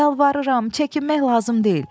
Yalvarıram, çəkinmək lazım deyil.